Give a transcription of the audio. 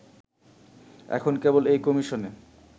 এখন কেবল এই কমিশনে